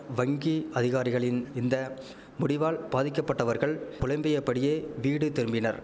வங்கி அதிகாரிகளின் இந்த முடிவால் பாதிக்கப்பட்டவர்கள் புலம்பியபடியே வீடு திரும்பினர்